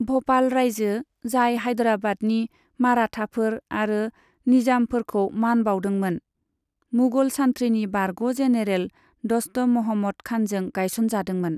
भ'पाल रायजो, जाय हाइदराबादनि माराठाफोर आरो निजामफोरखौ मान बाउदोंमोन, मुगल सान्थ्रिनि बारग' जेनेरेल द'स्त महम्मद खानजों गायसनजादोंमोन।